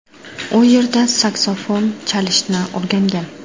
U yerda saksofon chalishni o‘rgangan.